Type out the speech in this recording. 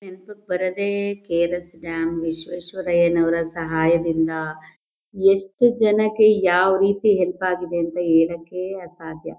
ನೆನಪ್ ಕೆ ಬರದೇ ಕೆ.ಆರ್ಎ.ಸ್ ಡ್ಯಾಮ್ ವಿಶ್ವೇಶ್ವರಯ್ಯ ನವರ ಸಹಾಯದಿಂದ ಎಷ್ಟ್ ಜನಕ್ಕೆ ಯಾವ್ ರೀತಿ ಹೆಲ್ಪ್ ಆಗಿದೆ ಅಂತ ಹೇಳಕ್ಕೆ ಅಸಾಧ್ಯ.